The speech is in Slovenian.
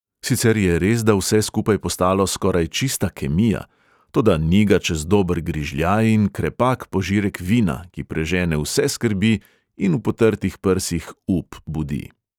Sicer je resda vse skupaj postalo skoraj čista kemija, toda ni ga čez dober grižljaj in krepak požirek vina, ki prežene vse skrbi in v potrtih prsih up budi.